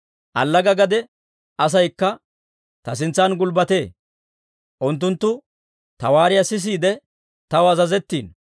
Allaga gade asaykka ta sintsan gulbbatee. Unttunttu ta waariyaa sisiide, taw azazettiino.